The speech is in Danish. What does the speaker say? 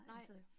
Nej